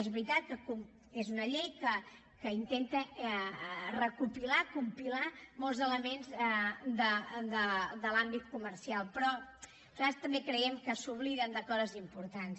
és veritat que és una llei que intenta recopilar compilar molts elements de l’àmbit comercial però nosaltres també creiem que s’obliden de coses importants